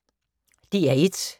DR1